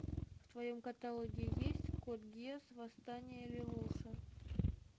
в твоем каталоге есть код гесс восстание лелуша